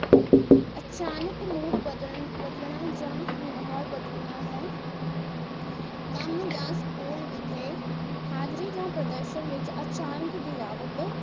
ਅਚਾਨਕ mood ਬਦਲਨਾ ਜਾਂ ਵਿਵਹਾਰ ਬਦਲਨਾ ਹੈ ਕੰਮ ਜਾਂ ਸਕੂਲ ਵਿਖੇ ਹਾਜ਼ਰੀ ਜਾਂ ਪ੍ਰਦਰਸ਼ਨ ਵਿਚ ਅਚਾਨਕ ਗਿਰਾਵਟ